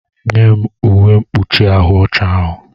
Nye m uwe mkpuchi ahụ ọcha ahụ!